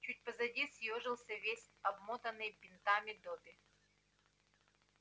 чуть позади съёжился весь обмотанный бинтами добби